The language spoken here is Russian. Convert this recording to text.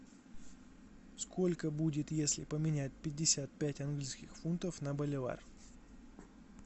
сколько будет если поменять пятьдесят пять английских фунтов на боливар